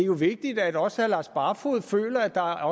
vigtigt at også herre lars barfoed føler at der